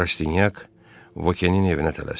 Rastinyak Vokenin evinə tələsdi.